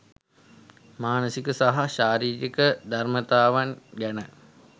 මානසික සහ ශාරීරික ධර්‍මතාවන් ගැන